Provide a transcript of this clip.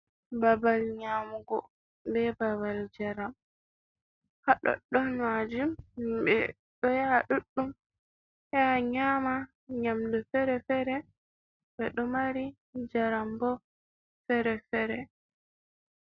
Babal nyamugo be babal jaram, hadoddon majum hibbe do yaha duddum yaha nyama nyamdu fere-fere be do mari jaram bo fere-fere.